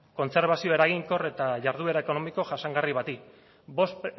kontserbazioa eraginkor eta jarduera ekonomiko jasangarri bati bost